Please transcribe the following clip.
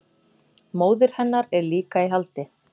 Móðir hennar er líka í haldi